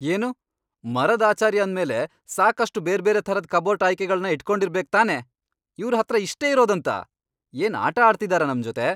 ಏನು? ಮರದ್ ಆಚಾರಿ ಅಂದ್ಮೇಲೆ ಸಾಕಷ್ಟು ಬೇರ್ಬೇರೆ ಥರದ್ ಕಬೋರ್ಡ್ ಆಯ್ಕೆಗಳ್ನ ಇಟ್ಕೊಂಡಿರ್ಬೇಕ್ ತಾನೇ! ಇವ್ರ್ ಹತ್ರ ಇಷ್ಟೇ ಇರೋದಂತಾ? ಏನ್ ಆಟ ಆಡ್ತಿದಾರಾ ನಮ್ಜೊತೆ?